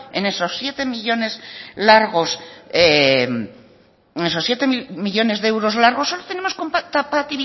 en esos siete millónes de euros largos solo tenemos